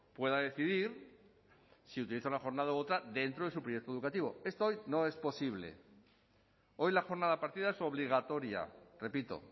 pueda decidir si utiliza una jornada u otra dentro de su proyecto educativo esto hoy no es posible hoy la jornada partida es obligatoria repito